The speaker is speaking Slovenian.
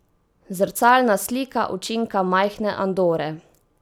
Zrcalna slika učinka majhne Andore.